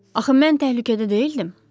Axı mən təhlükədə deyildim.